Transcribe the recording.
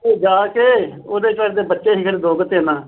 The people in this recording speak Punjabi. ਜਾ ਕੇ ਉਹਦੇ ਬੱਚੇ ਸੀਗੇ ਪਤਾ ਨੀ ਦੋ ਕੀ ਤਿੰਨ